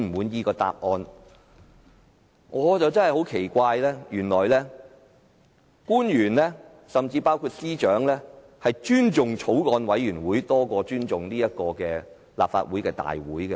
但是，我感到很奇怪的是，原來官員甚至司長，竟然尊重法案委員會的會議多於立法會會議。